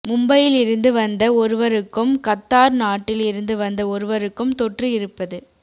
மும்பையில் இருந்து வந்த ஒருவருக்கும் கத்தார் நாட்டில் இருந்து வந்த ஒருவருக்கும் தொற்று இருப்பது